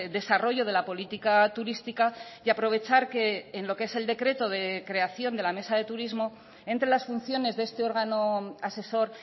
desarrollo de la política turística y aprovechar que en lo que es el decreto de creación de la mesa de turismo entre las funciones de este órgano asesor